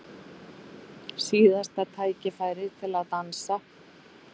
Síðasta tækifærið til að dansa